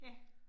Ja